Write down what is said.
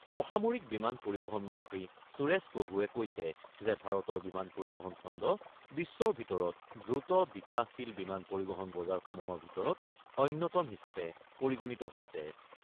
অসামৰিক বিমান পৰিবহণ মন্ত্ৰী সুৰেশ প্ৰভুৱে কৈছে যে , ভাৰতৰ বিমান পৰিবহণ খণ্ড বিশ্বৰ ভিতৰত দ্ৰুত বিকাশশীল বিমান পৰিবহণ বজাৰসমূহৰ ভিতৰত অন্যতম হিচাপে পৰিগণিত হৈছে ।